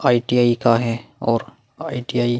ITI का है और आई.टी.आई --